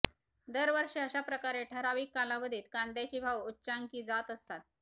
दरवर्षी अशा प्रकारे ठरावीक कालावधीत कांद्याचे भाव उच्चांकी जात असतात